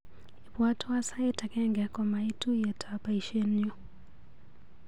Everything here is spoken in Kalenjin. Ibwatwa sait agenge komait tuiyetab baishenyu.